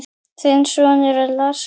Þinn sonur, Lars Jóhann.